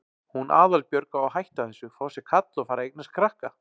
Hún Aðalbjörg á að hætta þessu, fá sér kall og fara að eignast krakka.